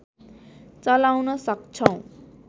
चलाउन सक्छौं